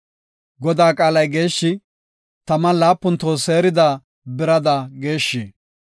Godaa qaalay geeshshi; taman laapun toho seerida birada geeshshi.